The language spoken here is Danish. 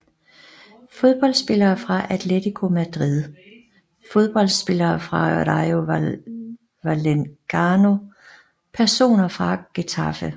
Fodboldspillere fra Atlético Madrid Fodboldspillere fra Rayo Vallecano Personer fra Getafe